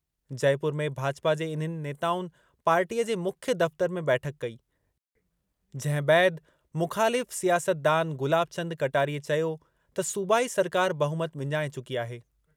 जयपुर में भाजपा जे इन्हनि नेताउनि पार्टीअ जे मुख्य दफ़्तरु में बैठक कई जंहिं बैदि मुख़ालिफ़ सियासतदान गुलाबचंद कटारिए चयो त सूबाई सरकार ॿहुमत विञाए चुकी आहे।